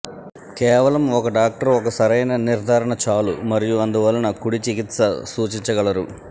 కేవలం ఒక డాక్టర్ ఒక సరైన నిర్ధారణ చాలు మరియు అందువలన కుడి చికిత్స సూచించగలరు